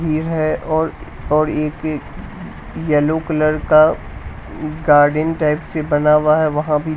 ये है और और एक ये येलो कलर का गार्डेन टाइप से बना हुआ है वहां भी--